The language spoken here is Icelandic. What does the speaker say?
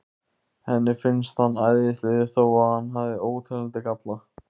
Henni finnst hann æðislegur þó að hann hafi óteljandi galla.